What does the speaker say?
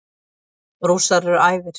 Rússar eru æfir.